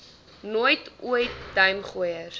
nooit ooit duimgooiers